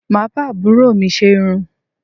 Mà á bá àbúrò mi ṣe irun